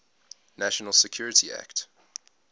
national security act